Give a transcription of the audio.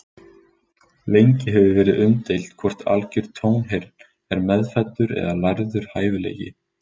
Lengi hefur verið umdeilt hvort algjör tónheyrn er meðfæddur eða lærður hæfileiki.